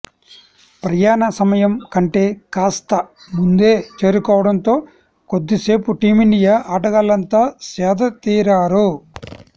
ప్రయాణ సమయం కంటే కాస్త ముందే చేరుకోవడంతో కొద్దిసేపు టీమిండియా ఆటగాళ్లంతా సేదతీరారు